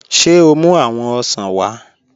Ṣé o mú awọn òṣàn wa?